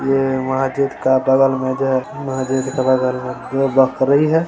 ये मस्जिद का बगल में जो है मस्जिद के बगल में दो बकरी है।